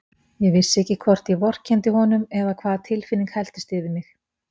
Ég vissi ekki hvort ég vorkenndi honum eða hvaða tilfinning helltist yfir mig.